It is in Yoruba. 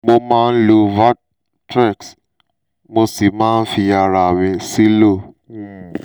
mo máa ń lo valtrex mo sì máa ń fi ara mi sílò um